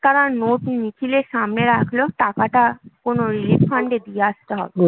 তাড়া note নিখিলের সামনে রাখল টাকাটা কোনো relief fund এ দিয়ে আসতে হবে